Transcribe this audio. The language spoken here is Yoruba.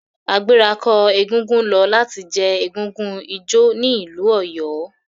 Agbẹ̀rako egúngún lo lati je egúngún ijó ni ilu Oyo.